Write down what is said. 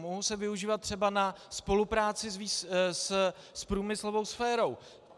Mohou se využívat třeba na spolupráci s průmyslovou sférou.